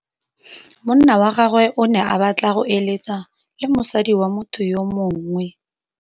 Monna wa gagwe o ne a batla go êlêtsa le mosadi wa motho yo mongwe.